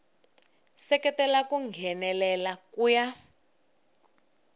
seketela ku nghenelela ku ya